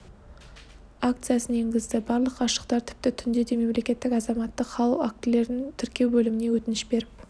акциясын енгізді барлық ғашықтар тіпті түнде де мемлекеттік азаматтық хал актілерін тіркеу бөліміне өтініш беріп